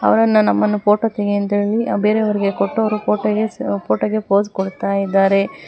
ಅವರೆಲ್ಲ ನಮ್ಮನ್ನು ಫೋಟೋ ತೆಗೆ ಎಂತ ಹೇಳಿ ಬೇರೆಯವರಿಗೆ ಕೊಟ್ಟು ಅವರು ಫೋಟೋಗೆ ಫೋಟೋಗೆ ಪೋಸ್ ಕೊಡುತ್ತಾ ಇದ್ದಾರೆ.